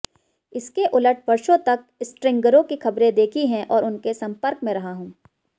इसके उलट वर्षों तक स्ट्रिंगरों की खबरें देखी हैं और उनके संपर्क में रहा हूं